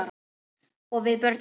Og við börnin.